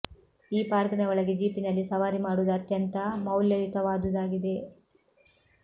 ಈ ಪಾರ್ಕ್ ನ ಒಳಗೆ ಜೀಪಿನಲ್ಲಿ ಸವಾರಿ ಮಾಡುವುದು ಅತ್ಯಂತ ಮೌಲ್ಯಯುತವಾದುದಾಗಿದೆ